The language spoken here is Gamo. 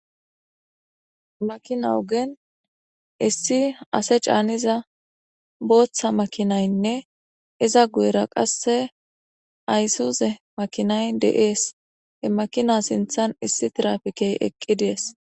makina ogen issi ase caaniza booththa makinaynne iza guyera qasse ayssuze makinay de7ees he makina sinthan issi tirafikey eqqides